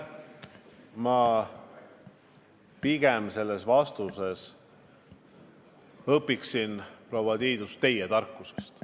Ma pigem vastan, proua Tiidus, et ma soovin õppida teie tarkusest.